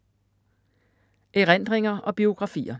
Erindringer og biografier